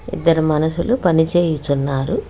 ఇద్దరు మనుషులు పనిచేయుచున్నారు.